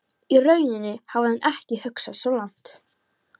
Í rauninni hafði hann ekki hugsað svo langt.